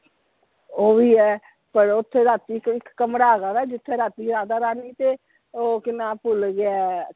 ਉਹਵੀ ਹੈ ਪਰ ਓਥੇ ਰਾਤੀ ਇਕ ਕਮਰਾ ਹੈਗਾ ਵਾ ਜਿਥੇ ਰਾਤੀ ਰਾਧਾ ਰਾਣੀ ਤੇ ਉਹ ਕੀ ਨਾ ਭੁੱਲ ਗਿਆ ਹੈ,